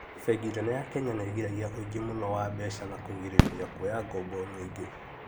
Bengi nene ya Kenya nĩgiragia ũingĩ mũno wa mbeca na kũgirĩrĩria kwoya ngoombo nyingĩ